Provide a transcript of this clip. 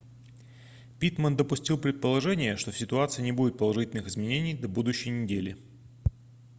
питтман допустил предположение что в ситуации не будет положительных изменений до будущей неделе